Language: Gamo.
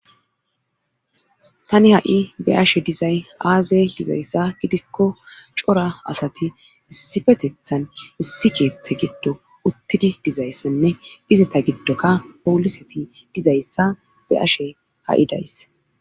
tani ha7i be ashe dizay aaze dizayssa gidikko cora asati issifetethan issi keeththe giddo uttidi dizayssanne izata giddokka pooliseti dizayssa be ashe ha7i days